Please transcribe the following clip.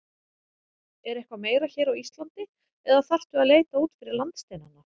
Er eitthvað meira hér á Íslandi eða þarftu að leita út fyrir landsteinana?